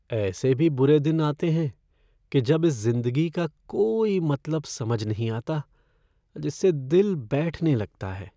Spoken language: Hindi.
ऐसे भी बुरे दिन आते हैं कि जब इस जिंदगी का कोई मतलब समझ नहीं आता, जिससे दिल बैठने लगता है।